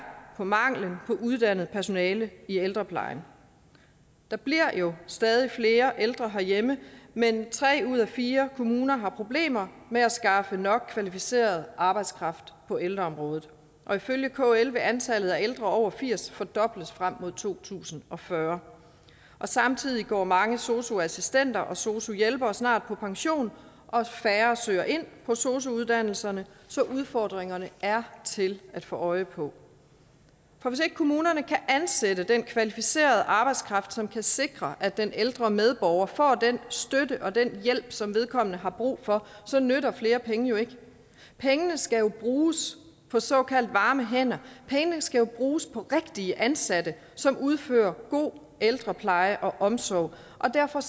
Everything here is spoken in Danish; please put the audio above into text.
manglen på uddannet personale i ældreplejen der bliver jo stadig flere ældre herhjemme men tre ud af fire kommuner har problemer med at skaffe nok kvalificeret arbejdskraft på ældreområdet og ifølge kl vil antallet af ældre over firs år fordobles frem mod to tusind og fyrre samtidig går mange sosu assistenter og sosu hjælpere snart på pension og færre søger ind på sosu uddannelserne så udfordringerne er til at få øje på for hvis ikke kommunerne kan ansætte den kvalificerede arbejdskraft som kan sikre at den ældre medborger får den støtte og den hjælp som vedkommende har brug for så nytter flere penge jo ikke pengene skal jo bruges på såkaldt varme hænder pengene skal bruges på rigtige ansatte som udfører god ældrepleje og omsorg og derfor